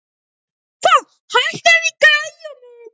Sesilía, stilltu tímamælinn á fimmtán mínútur.